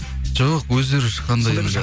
жоқ өздері шыққанда енді